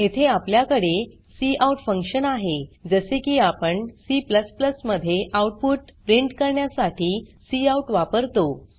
येथे आपल्याकडे cout function आहे जसे की आपण C मध्ये आउटपुट प्रिंट करण्यासाठी काउट वापरतो